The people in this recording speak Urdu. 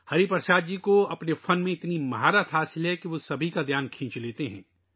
ہری پرساد جی اپنے فن میں ایسے ماہر ہیں کہ وہ سب کی توجہ اپنی طرف کھینچ لیتے ہیں